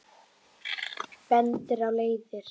Bendir á leiðir.